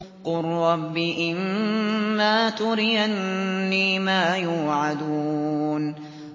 قُل رَّبِّ إِمَّا تُرِيَنِّي مَا يُوعَدُونَ